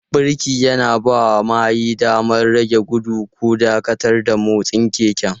Birki yana bawa mahayi damar rage gudu ko dakatar da motsin keken.